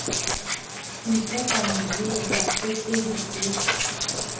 ho ikopanya le bafepedi ho